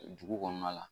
Dugu kɔnɔna la